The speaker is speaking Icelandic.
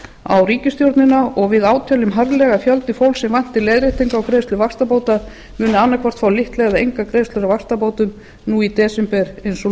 á ríkisstjórnina og við áteljum harðlega að fjöldi fólks sem væntir leiðréttinga á greiðslum vaxtabóta munu annaðhvort fá litla eða enga greiðslu á vaxtabótum nú í desember eins og